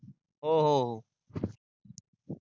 हो हो